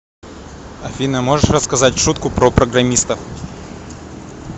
афина можешь рассказать шутку про программистов